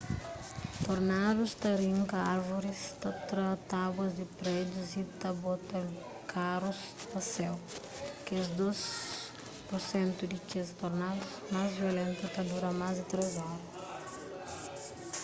tornadus ta rinka árvoris ta tra tábuas di prédius y ta bota karus pa séu kes dôs pur sentu di kes tornadus más violentu ta dura más di três oras